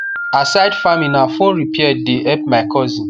aside farming na phone repair the help my cousin